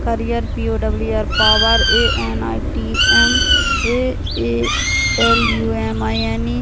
career P O W E R power A N I T M A A L U M I N E --